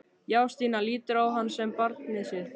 Já, Stína lítur á hann sem barnið sitt.